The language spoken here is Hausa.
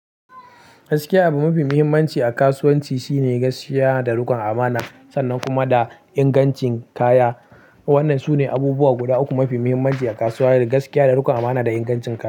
Gaskiya abu mafi muhimmanci a kasuwanci shine gaskiya da rikon amana sannan kuma da ingancin kaya. Wannan sune abubuwa guda uku mafi muhimmanci a kasuwa da gaskiya, da rikon amana, da ingancin kaya.